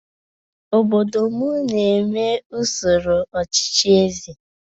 Obodo m na-eme usoro ọchịchị eze.